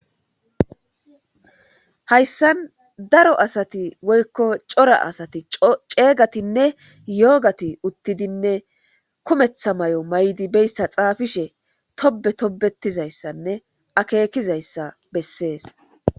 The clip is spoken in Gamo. Hayssan daro asati woyiko cora asati ceegatinne yoogati uttidinne kumetha mayo mayidi beyssa xaafishe tobe tobetizayssanne akeekizayssa bessees